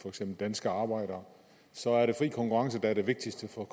for eksempel danske arbejdere så er det fri konkurrence der er det vigtigste for